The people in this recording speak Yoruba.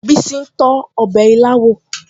Bísí ń tọ́ ọbẹ̀ ilá wò